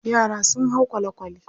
Yara sun hau kwale-kwale.